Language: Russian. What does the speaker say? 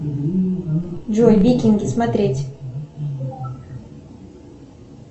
джой викинги смотреть